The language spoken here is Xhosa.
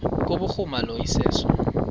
kubhuruma lo iseso